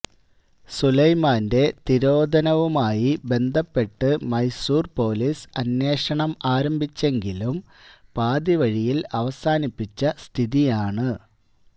സുലൈമാന്റെ തിരോധാനവുമായി ബന്ധപ്പെട്ട് മൈസൂര് പൊലിസ് അന്വേഷണമാരംഭിച്ചെങ്കിലും പാതിവഴിയില് അവസാനിപ്പിച്ച സ്ഥിതിയാണ്